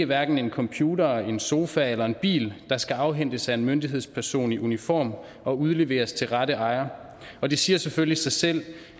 hverken en computer en sofa eller en bil der skal afhentes af en myndighedsperson i uniform og udleveres til rette ejer og det siger selvfølgelig sig selv